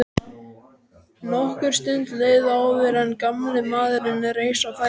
Nokkur stund leið áður en gamli maðurinn reis á fætur.